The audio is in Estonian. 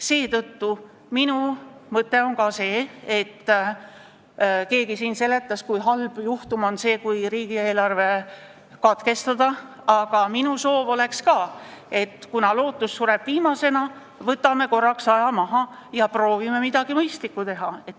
Seetõttu minu ettepanek on ka, kuigi keegi siin seletas, kui halb juhtum see on, kui riigieelarve seaduse eelnõu menetlus katkestada, et kuna lootus sureb viimasena, võtame korraks aja maha ja proovime midagi mõistlikku teha.